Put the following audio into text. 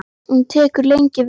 Hún tekur lengi við.